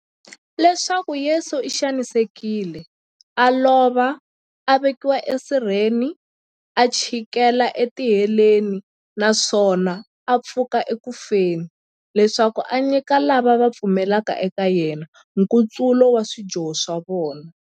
Leswaku Yesu u xanisekile, a lova, a vekiwa e sirheni, a chikela e tiheleni, naswona a pfuka eku feni, leswaku a nyika lava va pfumelaka eka yena, nkutsulo wa swidyoho swa vona.